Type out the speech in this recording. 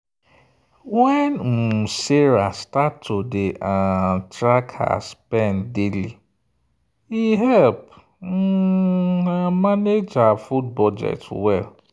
when um sarah start to dey um track her spend daily e help um am manage her food budget well.